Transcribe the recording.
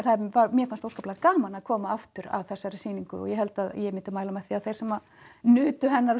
mér fannst óskaplega gaman að koma aftur að þessari sýningu og ég held að ég myndi mæla með því að þeir sem nutu hennar á